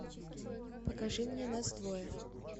покажи мне нас двое